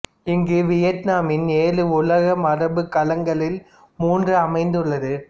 இங்கு வியட்நாமின் ஏழு உலக மரபுக் களங்களில் மூன்று அமைந்துள்ளது